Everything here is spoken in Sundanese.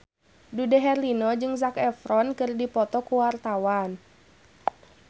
Dude Herlino jeung Zac Efron keur dipoto ku wartawan